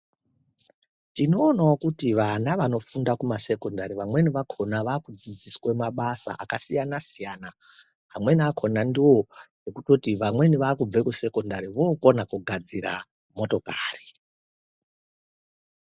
Tinoonawo kuti vana vanofunda kumasekondari vamweni vakhona vakudzidziswe mabasa akasiyana siyana amweni akhona ndowo ekutoti vamweni vakubve kusekondari vokona kugadzira motokari.